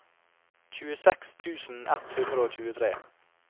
tjueseks tusen ett hundre og tjuetre